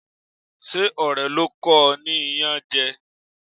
Ṣé ọ̀rẹ́ ló kọ o ní iyanje?